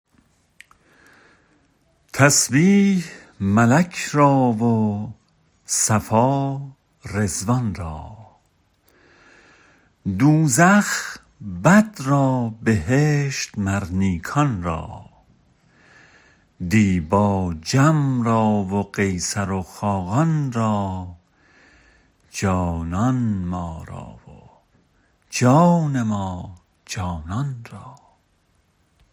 تسبیح ملک را و صفا رضوان را دوزخ بد را بهشت مر نیکان را دیبا جم را و قیصر و خاقان را جانان ما را و جان ما جانان را